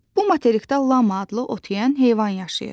Bu materikdə lama adlı ot yeyən heyvan yaşayır.